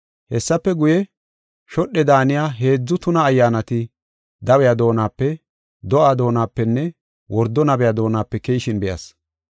Hessafe guye, shodhe daaniya heedzu tuna ayyaanati dawiya doonape, do7aa doonapenne wordo nabiya doonape keyishin be7as.